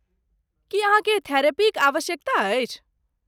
की अहाँकेँ थेरेपीक आवश्यकता अछि?